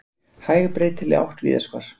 Hæg breytileg átt víðast hvar